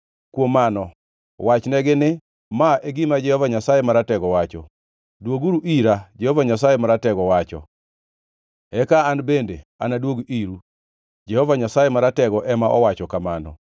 Kuom mano wachnegi ni: Ma e gima Jehova Nyasaye Maratego wacho: ‘Dwoguru ira,’ Jehova Nyasaye Maratego wacho. ‘Eka an bende anaduog iru,’ Jehova Nyasaye Maratego ema owacho kamano.